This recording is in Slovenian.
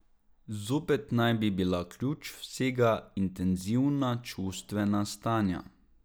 Zopet naj bi bila ključ vsega intenzivna čustvena stanja.